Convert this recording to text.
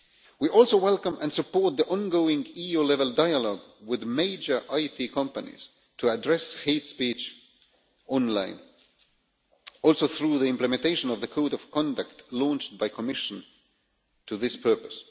We also welcome and support the ongoing EU level dialogue with major IT companies to address hate speech online, also through the implementation of the code of conduct launched by the Commission for this purpose.